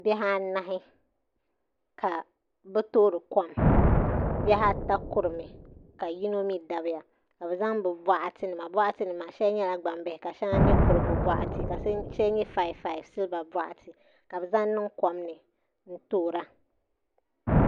Bihi anahi ka bi toori kom bihi ata kurimi ka yino mii dabiya ka bi zaŋ bi boɣati nima boɣati nim maa shɛli nyɛla gbambihi ka shɛli nyɛ kurigu boɣati ka shɛli nyɛ 55 silba boɣati ka bi zaŋ niŋ kom ni n toora